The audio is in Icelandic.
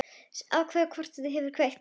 Afþvíað hvorugt okkar hefur kveikt.